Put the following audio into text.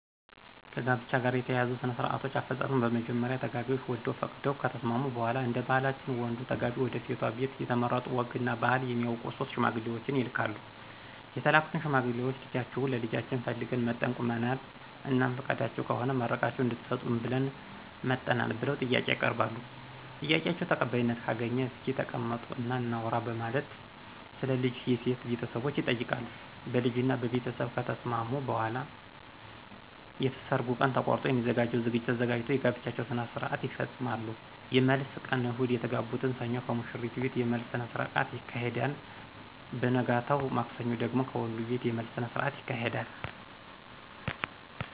ከጋብቻ ጋር የተያያዙ ሥነ -ስርአቶች አፈጻጸም በመጀመሪያ ተጋቢዎች ወደው ፈቅደው ከተስማሙ በሗላ እደባህላችን ወንዱ ተጋቢ ወደሴቷ ቤት የተመረጡ ወግ እና ባህል የሚያውቁ 3 ሽማግሌዎችን ይልካሉ የተላኩት ሽማግሌዎች ልጃችሁን ለልጃችን ፈልገን መጠን ቁመናል? እናም ፍቃዳችሁ ከሆነ መርቃችሁ እድትሰጡን ብለን መጠናል ብለው ጥያቄ ያቀርባሉ? ጥያቄአቸው ተቀባይነት ካገኘ እስኪ ተቀመጡ እና እናውራ በማለት ስለ ልጅ የሴት ቤተሰቦች ይጠይቃሉ ? በልጅ እና በቤተስብ ከተስማሙ በኃላ የሰርጉ ቀን ተቆርጦ የሚዘጋጀው ዝግጅት ተዘጋጅቶ የጋብቻቸውን ስርአት ይፈጾማሉ። የመልስ ቀን እሁድ የተጋቡትን ሰኞ ከሙሽሪት ቤት የመልስ ስነስረአት ይካሄድና በነገታው ማክሰኞ ደግሞ ከወንዱቤት የመልስ ስነስርአት ይካሄዳል።